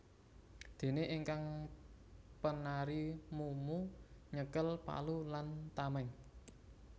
Dene ingkang penari mumu nyekel palu lan tameng